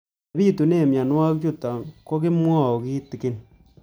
Ole pitune mionwek chutok ko kimwau kitig'�n